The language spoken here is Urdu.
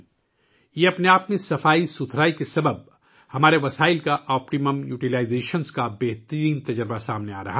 یہ اپنے آپ میں اس صفائی کی وجہ سے ہمیں اپنے وسائل کے زیادہ سے زیادہ استعمال کرنے کا بہترین تجربہ دے رہا ہے